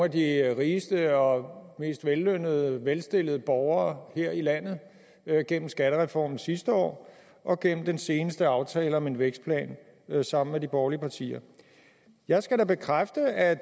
de rigeste og mest vellønnede velstillede borgere her i landet gennem skattereformen sidste år og gennem den seneste aftale om en vækstplan sammen med de borgerlige partier jeg skal da bekræfte at